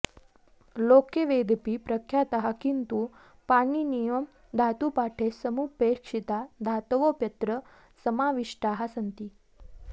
लोके वेदेऽपि प्रख्याताः किन्तु पाणिनीयधातुपाठे समुपेक्षिता धातवोऽप्यत्र समाविष्टाः सन्ति